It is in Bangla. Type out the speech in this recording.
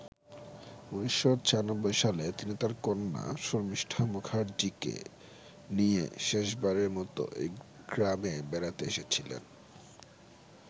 ১৯৯৬ সালে তিনি তার কন্যা শর্মিষ্ঠা মুখার্জিকে নিয়ে শেষবারের মতো এই গ্রামে বেড়াতে এসেছিলেন।